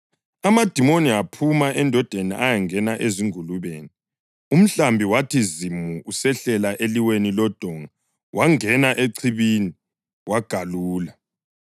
Amadimoni aphuma endodeni ayangena ezingulubeni, umhlambi wathi zimu usehlela eliweni lodonga wangena echibini wagalula.